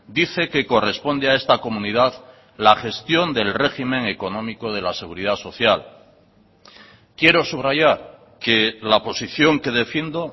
dice que corresponde a esta comunidad la gestión del régimen económico de la seguridad social quiero subrayar que la posición que defiendo